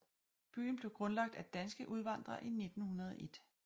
Byen blev grundlagt af danske udvandrere i 1901